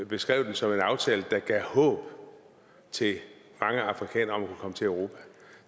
beskrev den som en aftale der gav håb til mange afrikanere om til europa